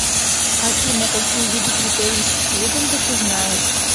афина какие виды критерий стьюдента ты знаешь